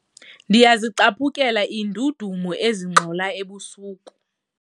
Ndiyazicaphukela iindudumo ezingxola ebusuku.